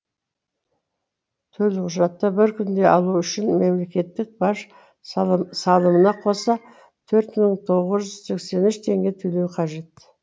төлқұжатты бір күнде алу үшін мемлекеттік баж салымына қоса төрт мың тоғыз жүз сексен үш теңге төлеу қажет